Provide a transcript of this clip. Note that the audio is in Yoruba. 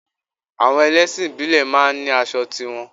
Àwọn ẹlẹ́sìn ìbílẹ̀ máa ń ní aṣọ ti wọn